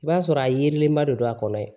I b'a sɔrɔ a yelenba de don a kɔnɔ yen